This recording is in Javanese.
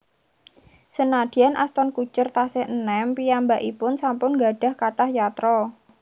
Senadyan Ashton Kutcher tasih enem piyambakipun sampun nggadhah kathah yatra